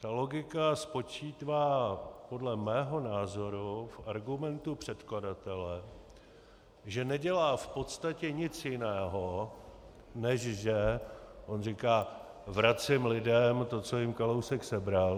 Ta logika spočívá podle mého názoru v argumentu předkladatele, že nedělá v podstatě nic jiného, než že on říká: vracím lidem to, co jim Kalousek sebral.